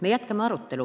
Me jätkame arutelu.